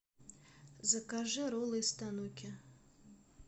закажи роллы из тануки